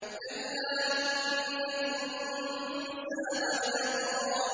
كَلَّا إِنَّ الْإِنسَانَ لَيَطْغَىٰ